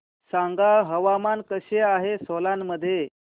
सांगा हवामान कसे आहे सोलान मध्ये